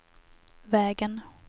vägen